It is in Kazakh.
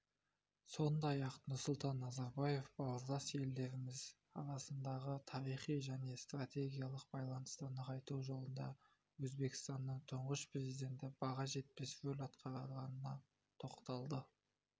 сондай-ақ нұрсұлтан назарбаев бауырлас елдеріміз арасындағы тарихи және стратегиялық байланысты нығайту жолында өзбекстанның тұңғыш президенті баға жетпес рөл атқарғанына тоқталды